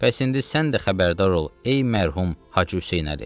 Bəs indi sən də xəbərdar ol, ey mərhum Hacı Hüseynəli.